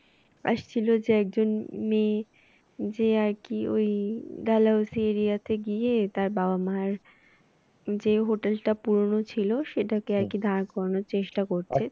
আসছিলো একজন মেয়ে যে আরকি ওই Dalhousie area তে গিয়ে তার বাবা মার যে hotel টা পুরানো ছিল সেটাকে আর কি দাঁড়ানোর চেষ্টা করছে